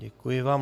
Děkuji vám.